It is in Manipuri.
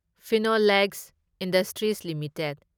Phenolex industries limited